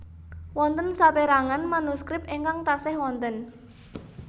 Wonten saperangan manuskrip ingkang taksih wonten